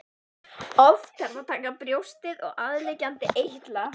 Oft þarf að taka brjóstið og aðliggjandi eitla.